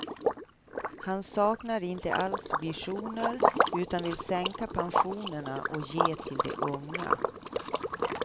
Han saknar inte alls visioner utan vill sänka pensionerna och ge till de unga.